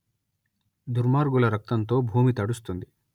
దుర్మార్గుల రక్తంతో భూమి తడుస్తుంది